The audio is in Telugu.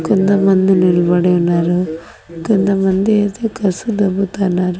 కొంతమంది నిల్బడి ఉన్నారు కొంతమంది అయితే కసు దొబ్బుతాన్నారు.